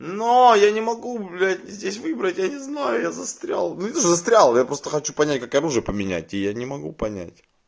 но я не могу блять здесь выбрать я не знаю я застрял ну и застрял я просто хочу понять как оружие поменять и я не могу понять